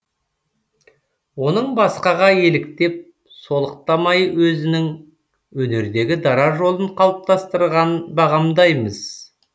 оның басқаға еліктеп солықтамай өзінің өнердегі дара жолын қалыптастырғанын бағамдаймыз